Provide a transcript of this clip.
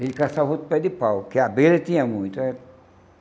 Ele caçava outro pé de pau, que a abelha tinha muito eh.